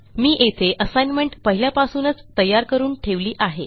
मी येथे ASSIGNMENTपहिल्यापासूनच तयार करून ठेवली आहे